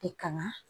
E kanga